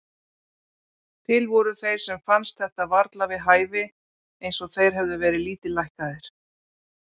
Til voru þeir sem fannst þetta varla við hæfi, eins og þeir hefðu verið lítillækkaðir.